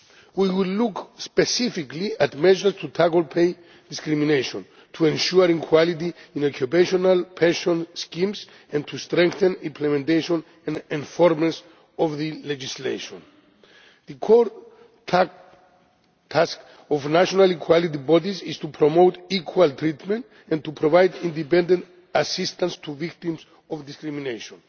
We will look specifically at measures to tackle pay discrimination, to ensure equality in occupational pension schemes and to strengthen the implementation and enforcement of the legislation. The core task of national equality bodies is to promote equal treatment, and to provide independent assistance to victims of discrimination.